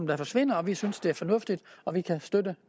der forsvinder vi synes det er fornuftigt og vi kan støtte